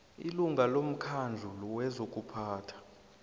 ilunga lomkhandlu wezokuphatha